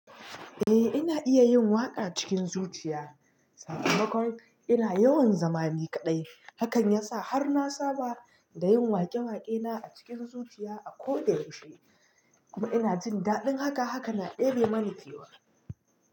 Eh ina iya yin waƙa cikin zuciya, sakamakon ina yawan zama ni kaɗai, hakan yasa har na saba da yin waƙe-waƙe na a cikin zuciya a ko da yaushe. Kuma ina jin daɗin haka, haka na ɗebe mani kewa.